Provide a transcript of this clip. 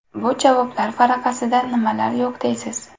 Bu javoblar varaqasida nimalar yo‘q deysiz.